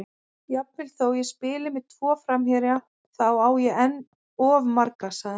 Jafnvel þó ég spili með tvo framherja, þá á ég enn of marga, sagði hann.